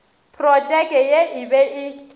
protšeke ye e be e